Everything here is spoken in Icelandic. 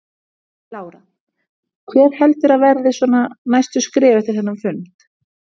Lára: Hver heldurðu að verði svona næstu skref eftir þennan fund?